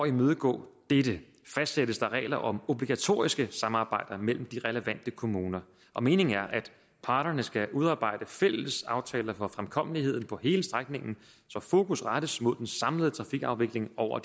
imødegå dette fastsættes der regler om obligatoriske samarbejder mellem de relevante kommuner og meningen er at parterne skal udarbejde fælles aftaler for fremkommeligheden på hele strækningen så fokus rettes mod den samlede trafikafvikling over